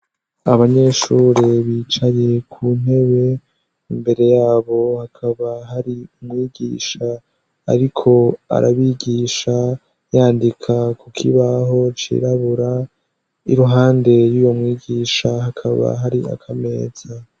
Abanyeshure bicaye ku ntebe, imbere yabo hakaba hari umwigisha ariko arabigisha yandika kukibaho cirabura iruhande y'uyo mwigisha hakaba hari akameza.